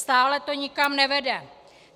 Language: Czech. Stále to nikam nevede.